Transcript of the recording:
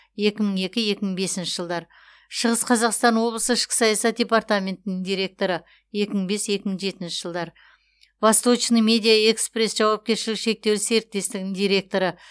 екі мың екі екі мың бесінші жылдар шығыс қазақстан облысы ішкі саясат департаментінің директоры екі мың бес екі мың жетінші жылдар восточный медиа экспресс жауапкершілігі шектеулі серіктестігінің директоры